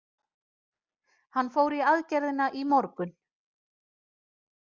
Hann fór í aðgerðina í morgun.